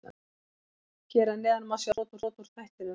Svo gekk það ekki upp.